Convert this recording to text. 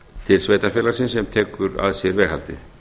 til sveitarfélagsins sem tekur að sér veghaldið